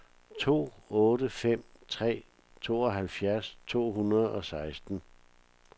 to otte fem tre tooghalvfjerds to hundrede og seksten